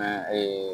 A